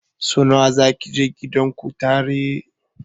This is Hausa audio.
Sau nawa zaki je gidan kutare?